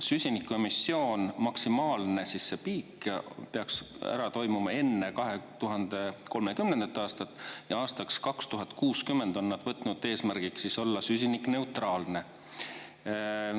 Süsiniku emissioon, maksimaalne piik peaks ära toimuma enne 2030. aastat, ja aastaks 2060 on nad võtnud eesmärgiks olla süsinikuneutraalne.